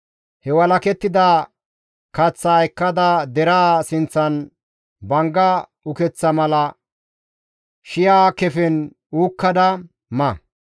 He walakettida kaththaa ekkada deraa sinththan bangga ukeththa mala shi7a kefen uukkada ma.»